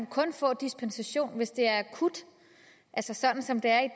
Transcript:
kun få dispensation hvis det er akut altså sådan som det er